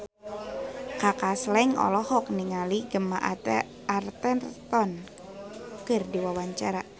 Kaka Slank olohok ningali Gemma Arterton keur diwawancara